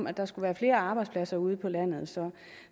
at der skulle være flere arbejdspladser ude på landet så